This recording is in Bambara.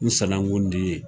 N sanankun de i ye.